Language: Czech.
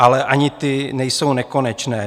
Ale ani ty nejsou nekonečné.